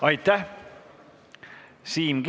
Aitäh!